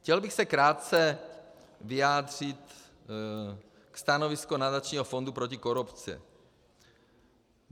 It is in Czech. Chtěl bych se krátce vyjádřit ke stanovisku Nadačního fondu proti korupci.